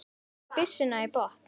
Ég stíg byssuna í botn.